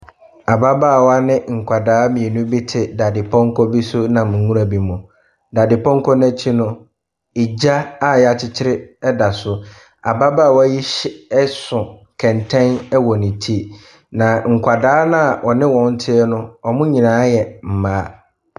Ababaawa ne nkwadaa mmienu bi ɛte dadepɔnkɔ bi so ɛnam nwura bi mu. Dadepɔnkɔ n’akyi no, gya a yɛakyekyere da so. Ababaawa yi hyɛ ɛso kɛntɛn ɛwɔ ne ti. Na nkwadaa no a ɔne wɔn teɛ no, wn nyinaa yɛ mmaa.